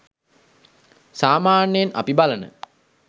සාමාන්‍යයෙන් අපි බලන